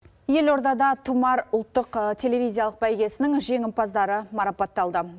елордада тұмар ұлттық телевизиялық бәйгесінің жеңімпаздары марапатталды